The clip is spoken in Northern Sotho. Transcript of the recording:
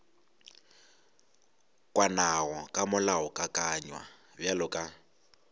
kwanago ka molaokakanywa bjalo ka